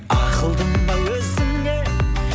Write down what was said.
ақылдым ау өзіңе